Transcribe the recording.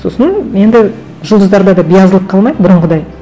сосын енді жұлдыздарда да биязылық қалмайды бұрынғыдай